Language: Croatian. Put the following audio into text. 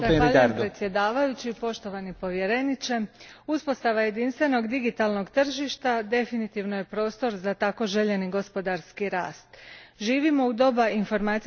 Gospodine predsjedniče, uspostava jedinstvenog digitalnog tržišta definitivno je prostor za tako željeni gospodarski rast. Živimo u doba informacijskih tehnologija.